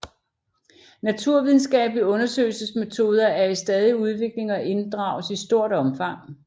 Naturvidenskabelige undersøgelsesmetoder er i stadig udvikling og inddrages i stort omfang